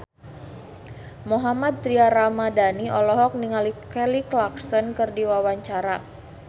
Mohammad Tria Ramadhani olohok ningali Kelly Clarkson keur diwawancara